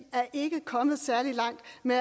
men